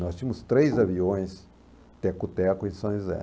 Nós tínhamos três aviões, Teco-Teco e São José.